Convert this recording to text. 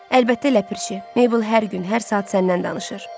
Əlbəttə Ləpirçi, Meybl hər gün, hər saat səndən danışır.